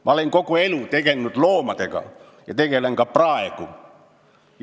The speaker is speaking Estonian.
Ma olen kogu elu loomadega tegelnud ja tegelen ka praegu.